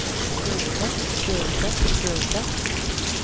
burde burde burde